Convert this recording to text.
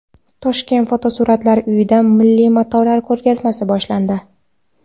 Toshkent Fotosuratlar uyida milliy matolar ko‘rgazmasi boshlandi.